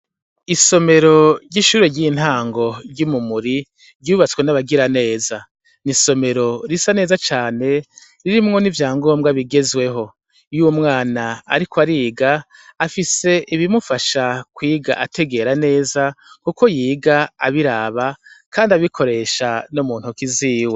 Isomero ry'ishure ry'intango ry'umumuri ryubatswe n'abagira neza ni isomero risa neza cane ririmwo n'ivya ngombwa bigezweho yo'umwana, ariko ariga afise ibimufasha kwiga ategera neza, kuko yiga abiraba, kandi abikoresha no mue ntakiziwe.